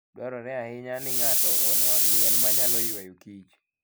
Dwarore ahinya ni ng'ato onwang' yien ma nyalo ywayo kich.